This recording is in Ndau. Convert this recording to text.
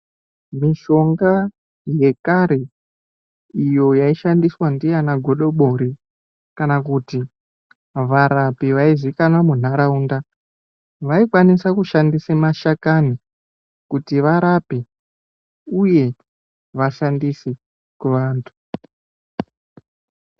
Mishonga yekare, iyo yaishandiswa ndianagodobori kana kuti varapi vaizikanwa munharaunda vaikwanisa kushandisa mashakani kuti varape uye vashandise kuvanthu.